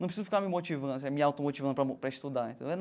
Não preciso ficar me motivando, assim, me automotivando para para estudar, entendeu?